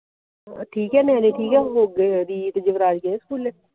ਠੀਕ ਹੈ ਨਿਆਣੇ ਠੀਕ ਐ ਰੀਤ ਯੁਵਰਾਜ ਗਏ ਸਕੂਲੇ